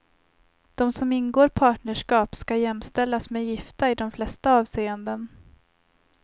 De som ingår partnerskap ska jämställas med gifta i de flesta avseenden.